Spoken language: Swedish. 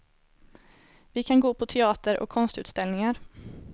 Vi kan gå på teater och konstutställningar.